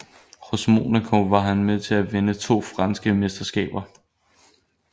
Hos Monaco var han med til at vinde to franske mesterskaber